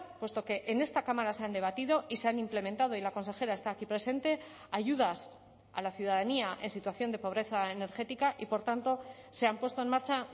puesto que en esta cámara se han debatido y se han implementado y la consejera está aquí presente ayudas a la ciudadanía en situación de pobreza energética y por tanto se han puesto en marcha